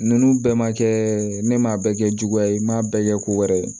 Ninnu bɛɛ ma kɛ ne m'a bɛɛ kɛ juguya ye n ma bɛɛ kɛ ko wɛrɛ ye